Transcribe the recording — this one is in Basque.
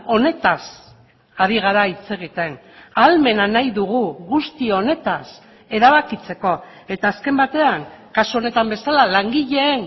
honetaz ari gara hitz egiten ahalmena nahi dugu guzti honetaz erabakitzeko eta azken batean kasu honetan bezala langileen